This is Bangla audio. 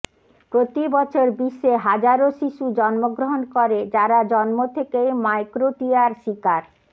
প্রতি বছর বিশ্বে হাজারো শিশু জন্মগ্রহণ করে যারা জন্ম থেকেই মাইক্রোটিয়ার শিকার